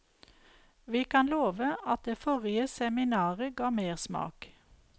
Vi kan love at det forrige seminaret ga mersmak.